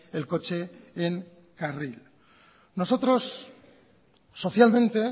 el coche en carril nosotros socialmente